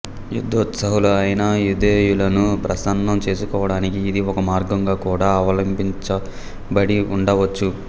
యుద్ధోత్సాహులైన యౌదేయులను ప్రసన్నం చేసుకోవడానికి ఇది ఒక మార్గంగా కూడా అవలంబించబడి ఉండవచ్చు